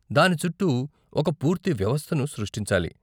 దాని చుట్టూ ఒక పూర్తి వ్యవస్థను సృష్టించాలి.